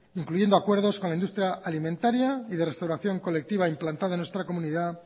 incluyendo acuerdos con la industria alimentaria y de restauración colectiva implantada en nuestra comunidad